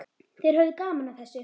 Þeir höfðu gaman af þessu.